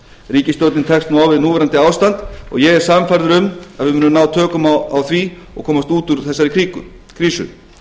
ríkisstjórnin tekst nú á við núverandi ástand og ég er sannfærður um að við munum ná tökum á því og komast út úr þessari krísu